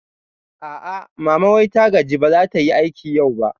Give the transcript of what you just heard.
A'a, mama wai ta gaji ba zatayi aiki yau ba